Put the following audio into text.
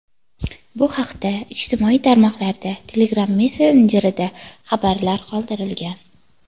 Bu haqda ijtimoiy tarmoqlarda, Telegram messenjerida xabarlar qoldirilgan.